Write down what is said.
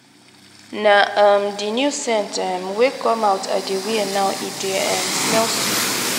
na um di new scent um wey come out i dey wear now e dey um smell sweet.